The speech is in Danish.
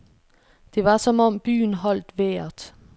Det var som om byen holdt vejret.